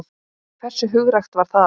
Hversu hugrakkt var það?